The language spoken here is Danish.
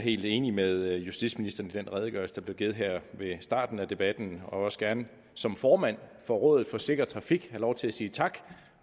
helt enig med justitsministeren i den redegørelse der blev givet her ved starten af debatten og også gerne som formand for rådet for sikker trafik lov til at sige tak